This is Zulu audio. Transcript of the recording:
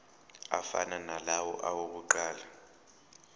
afana nalawo awokuqala